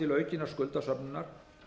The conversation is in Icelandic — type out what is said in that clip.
til aukinnar skuldasöfnunar